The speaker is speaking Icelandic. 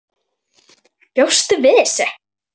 Bjóstu við þessu?